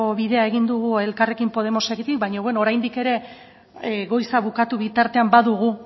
bidea egin dugu elkarrekin podemosekin baina bueno oraindik ere goiza bukatu bitartean badugu